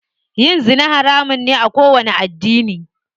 Yin zina haramun ne a kowanni addini.